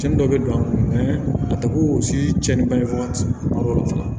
Cɛnni dɔ bɛ don a kɔnɔ a tɛ ko o si cɛnni bangebaga tila